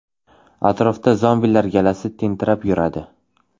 Atrofda ‘zombilar’ galasi tentirab yuradi.